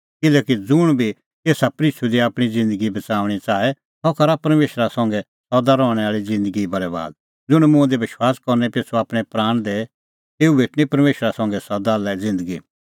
किल्हैकि ज़ुंण आपणैं प्राण बच़ाऊंणै च़ाहे सह पाआ तेता बरैबाद और ज़ुंण मेरी तैणीं आपणैं प्राण खोए तेऊए प्राण बच़णैं